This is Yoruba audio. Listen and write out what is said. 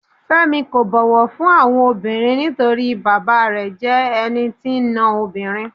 Fẹ́mi kò bọ̀wọ̀ fún àwọn obìnrin nítorí bàbáa rẹ̀ jẹ́ ẹni tí ń ná obìnrin.